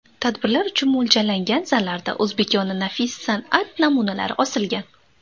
Tadbirlar uchun mo‘ljallangan zallarda o‘zbekona nafis san’at namunalari osilgan.